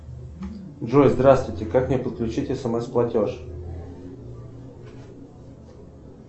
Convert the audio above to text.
джой здравствуйте как мне подключить смс платеж